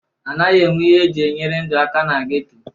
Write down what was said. A naghị enwe ihe e ji enyere ndụ aka na geto.